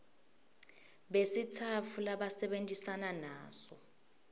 besitsatfu labasebentisana naso